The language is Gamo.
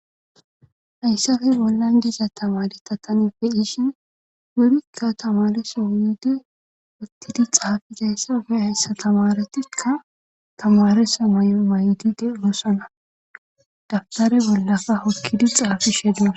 hayssafe bollan diza tamare ta tani be'ishin wurikka tamaresa yiid uttidi xaafizayssafe hayssa tamaretikka tamaresa mayo mayidi de'oossana dabbitare bollaka hokkidi xaafishe dos